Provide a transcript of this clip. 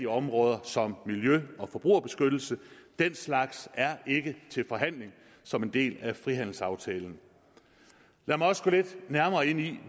områder som miljø og forbrugerbeskyttelse den slags er ikke til forhandling som en del af frihandelsaftalen lad mig også gå lidt nærmere ind i